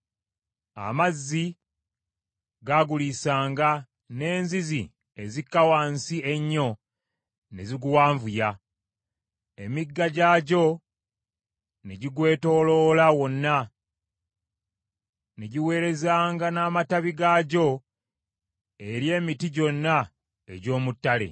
Amazzi gaaguliisanga, n’enzizi ezikka wansi ennyo ne ziguwanvuya, n’emigga gyagyo ne gigwetooloola wonna, ne giweerezanga n’amatabi gaagyo eri emiti gyonna egy’omu ttale.